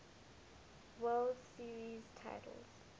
world series titles